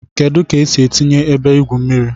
Kedu ka esi etinye ebe igwu mmiri?